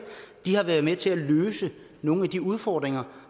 de har været med til at løse nogle af de udfordringer